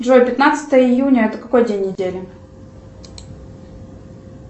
джой пятнадцатое июня это какой день недели